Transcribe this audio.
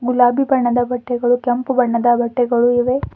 ಗುಲಾಬಿ ಬಣ್ಣದ ಬಟ್ಟೆಗಳು ಕೆಂಪು ಬಣ್ಣದ ಬಟ್ಟೆಗಳು ಇವೆ.